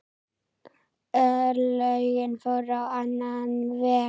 Örlögin fóru á annan veg.